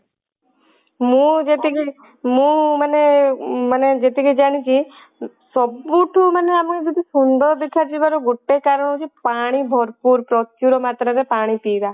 ମୁଁ ଯେତିକି ମୁଁ ମାନେ ମାନେ ଯେତିକି ଜାଣିଛି ସବୁ ଠୁ ମାନେ ଯଦି ଆମେ ଯଦି ସୁନ୍ଦର ଦେଖା ଯିବାର ଗୋଟେ କାରଣ ହଉଛି ପାଣି ଭରପୁର ପ୍ରଚୁର ମାତ୍ରା ରେ ପାଣି ପିଇବା